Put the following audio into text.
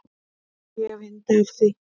Ég hef yndi af því.